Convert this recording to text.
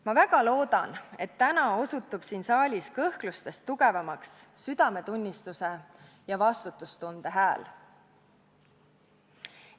Ma väga loodan, et täna osutub siin saalis kõhklustest tugevamaks südametunnistuse ja vastutustunde hääl.